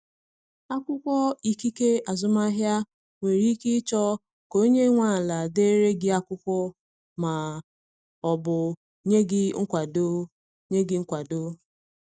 Akwụkwọ ikike azụmahịa, nwere ike ịchọ ka onye nwe ala dere gị akwụkwọ ma ọ bụ nye gị nkwado. nye gị nkwado.